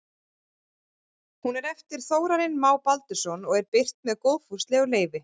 Hún er eftir Þórarin Má Baldursson og er birt með góðfúslegu leyfi.